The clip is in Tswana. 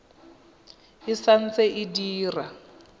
e sa ntse e dira